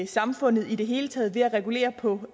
samfundet i det hele taget ved at regulere på